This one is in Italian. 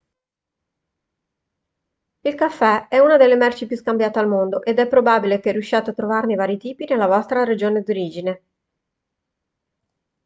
il caffè è una delle merci più scambiate al mondo ed è probabile che riusciate a trovarne vari tipi nella vostra regione d'origine